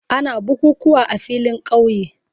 Ana bukukuwa a filin kauye.